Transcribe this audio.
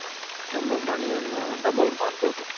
ನಮ್ಮ money ಯನ್ನು double ಮಾಡ್ಬಹುದು.